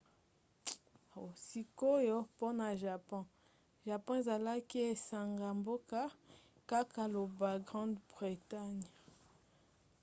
sikoyo mpona japon. japon ezalaki esanga-mboka kaka lokola grande bretagne